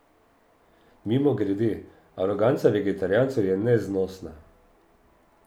Mimogrede, aroganca vegetarijancev je neznosna.